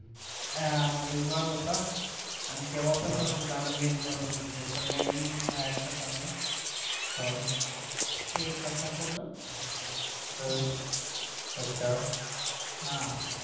आह रविवार होता आणि तेव्हा पण तसच झालं मेस बंद होत होत संध्याकाळी बाहेरच खाल्लं हा